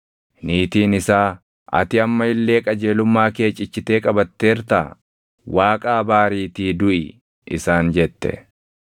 Niitiin isaa, “Ati amma illee qajeelummaa kee cichitee qabatteertaa? Waaqa abaariitii duʼi!” isaan jette.